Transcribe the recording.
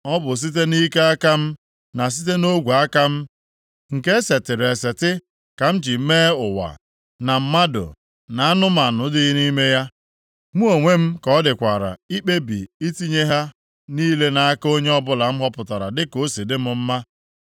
Ọ bụ site nʼike aka m, na site nʼogwe aka m, nke e setịrị eseti, ka m ji mee ụwa, na mmadụ, na anụmanụ dị nʼime ya. Mụ onwe m ka ọ dịkwara ikpebi itinye ha niile nʼaka onye ọbụla m họpụtara dịka o si dị m mma.